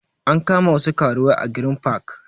An kama wasu karuwai a green park